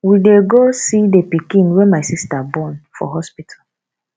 we dey go see the pikin wey my sister born for hospital